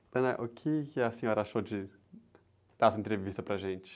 Ana, o que a senhora achou de, dar essa entrevista para gente?